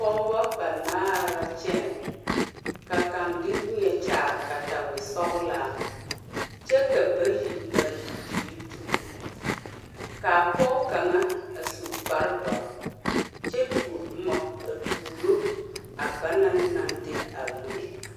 Pogebɔ banaare la kyɛnɛ ka kaŋ de wieɛ kyaare katawisɔglaa kyɛ ka bayi mare bibiire tuuro kaa pogɔ kaŋa a su kparedoɔre kyɛ tuoɔ bomma a tuuro a ba naŋ naŋ de a wieɛ.